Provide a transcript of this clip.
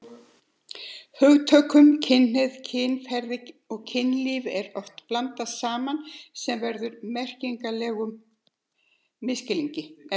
Hugtökunum kynhneigð, kynferði og kynlífi er oft blandað saman sem veldur merkingarlegum erfiðleikum.